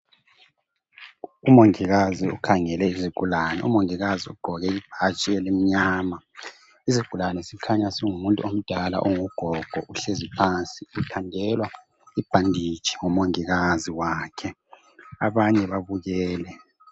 Umongikazi ukhangele izigulane, umongikazi ugqoke ibhatshi elimnyama. Isigulani sikhanya singumuntu omdala ongugogo uhlezi phansi uthandelwa ibhanditshi ngumongikazi wakhe abanye babukele.